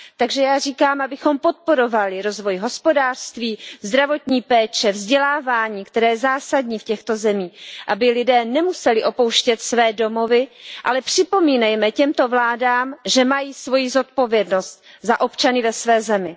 Takže já říkám, abychom podporovali rozvoj hospodářství, zdravotní péče, vzdělávání, které je zásadní v těchto zemích, aby lidé nemuseli opouštět své domovy, ale připomínejme těmto vládám, že mají odpovědnost za občany ve své zemi.